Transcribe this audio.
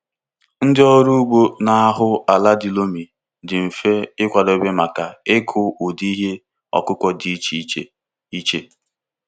Ndị ọrụ ugbo na-ahụ ala di loamy dị mfe ịkwadebe maka ịkụ ụdị ihe ọkụkụ dị iche iche. iche.